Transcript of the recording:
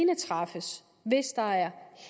kan træffes hvis der er